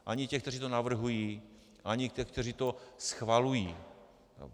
Ani těch, kteří to navrhují, ani těch, kteří to schvalují.